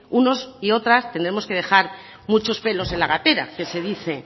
unos y otras tenemos que dejar muchos pelos en la gatera que se dice